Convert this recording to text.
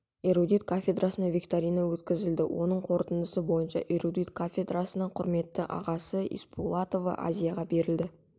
эрудит кафедрасына викторина өткізілді оның қорытындысы бойынша эрудит кафедрасы құрметті атағы испулатова азияға берілді